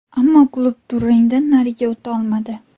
Ammo klub durangdan nariga o‘ta olmadi.